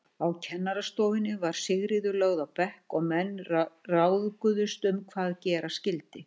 Á kennarastofunni var Sigríður lögð á bekk og menn ráðguðust um hvað gera skyldi.